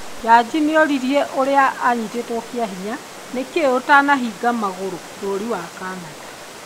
Jaji nĩoririe ũrĩa anyitĩtwe kĩahinya "nĩkĩĩ ũtanabinga magũrũ" bũrũri wa Canada